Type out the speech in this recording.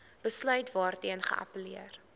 besluit waarteen geappelleer